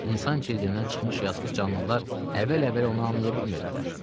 İnsan cildindən çıxmış yazıq canlılar əvvəl-əvvəl onu anlaya bilmirdilər.